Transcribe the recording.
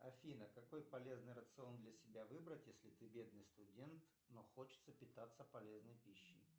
афина какой полезный рацион для себя выбрать если ты бедный студент но хочется питаться полезной пищей